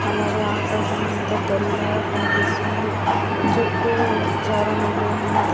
అలాగే ఆకాశమంత తెల్లగా కనపిస్తుంది చుట్టూ చానామంది ఉన్నారు.